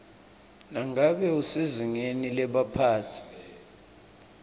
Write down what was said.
nangabe usezingeni lebaphatsi